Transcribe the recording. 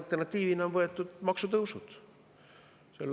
Alternatiiviks on võetud maksutõusud.